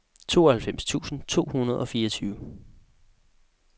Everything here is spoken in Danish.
tooghalvfems tusind to hundrede og fireogtyve